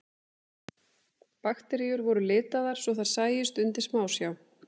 Bakteríur voru litaðar svo þær sæjust undir smásjá.